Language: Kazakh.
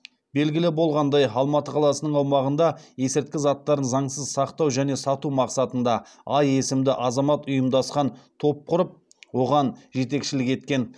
белгілі болғандай алматы қаласының аумағында есірткі заттарын заңсыз сақтау және сату мақсатында а есімді азамат ұйымдасқан топ құрып оған жетекшілік еткен